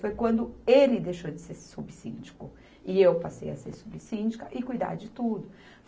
Foi quando ele deixou de ser subsíndico e eu passei a ser subsíndica e cuidar de tudo.